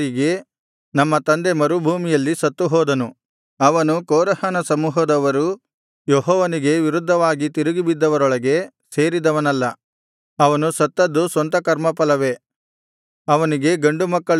ನಮ್ಮ ತಂದೆ ಮರುಭೂಮಿಯಲ್ಲಿ ಸತ್ತುಹೋದನು ಅವನು ಕೋರಹನ ಸಮೂಹದವರು ಯೆಹೋವನಿಗೆ ವಿರುದ್ಧವಾಗಿ ತಿರುಗಿಬಿದ್ದವರೊಳಗೆ ಸೇರಿದವನಲ್ಲ ಅವನು ಸತ್ತದ್ದು ಸ್ವಂತ ಕರ್ಮಫಲವೇ ಅವನಿಗೆ ಗಂಡು ಮಕ್ಕಳಿಲ್ಲ